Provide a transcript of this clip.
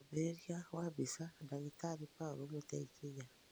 mwambĩrĩrĩo wa mbĩca, Dagĩtarĩ Paulu Mũteĩkĩnya